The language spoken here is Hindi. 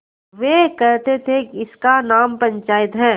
वे कहते थेइसका नाम पंचायत है